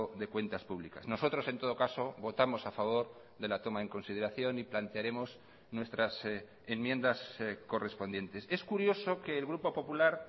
de cuentas públicas nosotros en todo caso votamos a favor de la toma en consideración y plantearemos nuestras enmiendas correspondientes es curioso que el grupo popular